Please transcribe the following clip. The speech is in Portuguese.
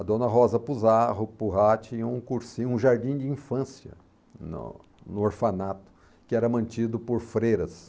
A Dona Rosa Pujá Pujá tinha um cursinho jardim de infância no no orfanato, que era mantido por freiras.